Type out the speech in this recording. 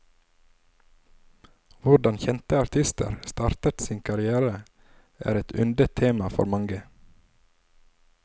Hvordan kjente artister startet sine karrierer, er et yndet tema for mange.